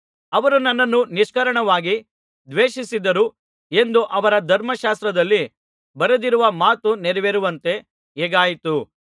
ಅವರು ನನ್ನನ್ನು ನಿಷ್ಕಾರಣವಾಗಿ ದ್ವೇಷಿಸಿದರು ಎಂದು ಅವರ ಧರ್ಮಶಾಸ್ತ್ರದಲ್ಲಿ ಬರೆದಿರುವ ಮಾತು ನೆರವೇರುವಂತೆ ಹೀಗಾಯಿತು